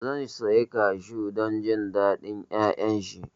Zan sayi Kashu don jin daɗin ƴaƴan shi